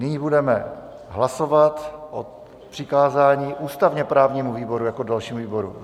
Nyní budeme hlasovat o přikázání ústavně-právnímu výboru jako dalšímu výboru.